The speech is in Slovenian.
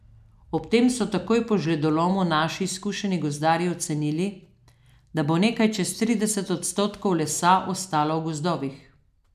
Ob tem so takoj po žledolomu naši izkušeni gozdarji ocenili, da bo nekaj čez trideset odstotkov lesa ostalo v gozdovih.